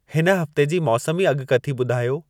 हिन हफ़्ते जी मौसमी अॻकथी ॿुधायो